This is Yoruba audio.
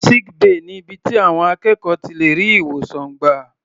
Sick bay ni ibi tí àwọn akẹ́kọ̀ọ́ ti lè rí ìwòsàn gbà.